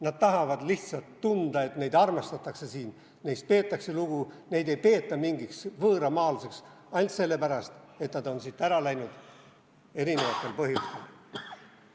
Nad tahavad lihtsalt tunda, et neid armastatakse siin, neist peetakse lugu, neid ei peeta mingiks võõramaalaseks ainult sellepärast, et nad on siit erinevatel põhjustel ära läinud.